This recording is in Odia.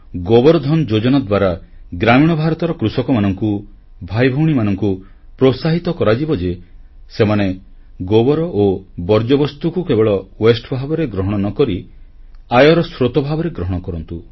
ଗୋବର ଧନ ଯୋଜନା ଦ୍ୱାରା ଗ୍ରାମୀଣ ଭାରତର କୃଷକମାନଙ୍କୁ ଭାଇଭଉଣୀମାନଙ୍କୁ ପ୍ରୋତ୍ସାହିତ କରାଯିବ ଯେ ସେମାନେ ଗୋବର ଓ ବର୍ଜ୍ୟବସ୍ତୁକୁ କେବଳ ୱାସ୍ତେ ଭାବରେ ଗ୍ରହଣ ନ କରି ଆୟର ସ୍ରୋତ ଭାବରେ ଗ୍ରହଣ କରନ୍ତୁ